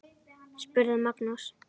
spurði Magnús.